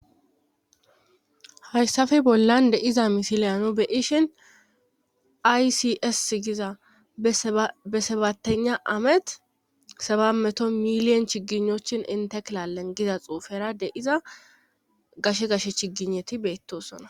hayssafe bollan de'iza misileyano beyishin aysis giza besabattena amet sabammeto miliyon chiginochin inte klalengiza xuufera de iza gashe gashe chigineti beettosona